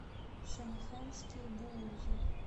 шэнэхэнские буузы